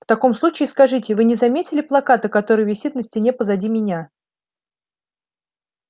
в таком случае скажите вы не заметили плаката который висит на стене позади меня